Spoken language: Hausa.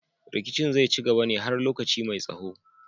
Rikicin zai ci gaba ne har lokaci mai tsaho